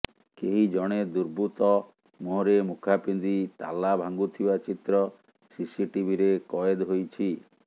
କେହି ଜଣେ ଦୁର୍ବୃତ୍ତ ମୁହଁରେ ମୁଖା ପିନ୍ଧି ତାଲା ଭାଙ୍ଗୁଥିବା ଚିତ୍ର ସିସିଟିଭିରେ କଏଦ୍ ହୋଇଛି